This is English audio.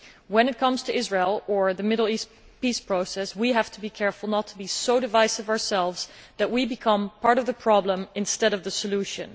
When it comes to Israel or the Middle East peace process, we have to be careful not to be so divisive ourselves that we become part of the problem instead of the solution.